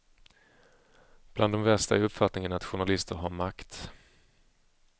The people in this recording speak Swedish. Bland de värsta är upfattningen att journalister har makt.